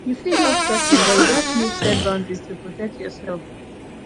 you fit love pesin but you gats need set boundaries to protect yourself